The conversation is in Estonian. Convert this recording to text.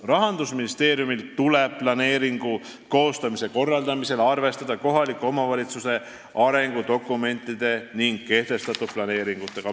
Rahandusministeeriumil tuleb planeeringu koostamise korraldamisel arvestada kohaliku omavalitsuse arengudokumentide ning kehtestatud planeeringutega.